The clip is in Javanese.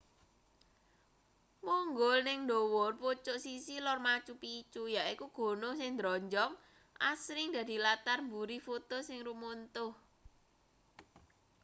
munggul ning ndhuwur pucuk sisih lor machu picchu yaiku gunung sing ndronjong asring dadi latar mburi foto sing rumuntuh